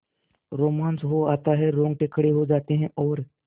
रोमांच हो आता है रोंगटे खड़े हो जाते हैं और